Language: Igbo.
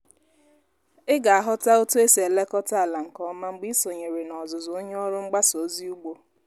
ị ga-aghota otu esi elekọta ala nke ọma mgbe ị sonyere n'ọzụzụ onye ọrụ mgbasa ozi ugbo